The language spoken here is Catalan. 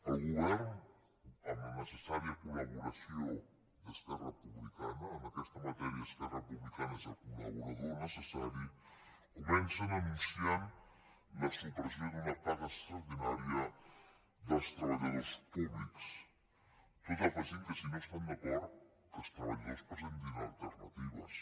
el govern amb la necessària col·laboració d’esquerra republicana en aquesta matèria esquerra republicana és el col·laborador necessari comença anunciant la supressió d’una paga extraordinària dels treballadors públics tot afegint que si no hi estan d’acord que els treballadors hi presentin alternatives